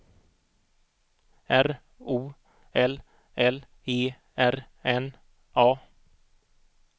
R O L L E R N A